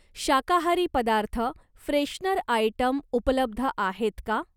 शाकाहारी पदार्थ, freshener item उपलब्ध आहेत का?